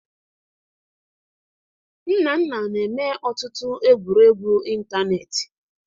Nnanna na-eme ọtụtụ egwuregwu ịntanetị